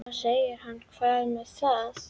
Þá segir hann Hvað með það.